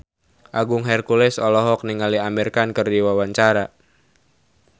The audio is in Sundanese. Agung Hercules olohok ningali Amir Khan keur diwawancara